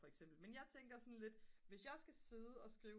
for eksempel men jeg tænker sådan lidt hvis jeg skal sidde at skrive